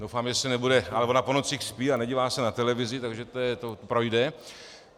Doufám, že se nebude... ale ona po nocích spí a nedívá se na televizi, takže to projde.